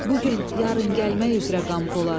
Bu gün yarın gəlmək üzrə Qampolad.